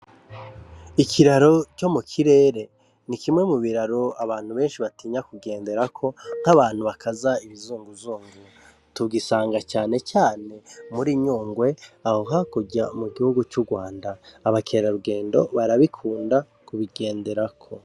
Ikiraro co mukirere ni kimwe mu biraro abantu benshi batinya kugenderako nk’abantu bakaza ibizunguzungu tugisanga cane cane muri Nyungwe aho hakurya mu gihugu c'Urwanda, abakerarugendo barabikunda kubigenderako .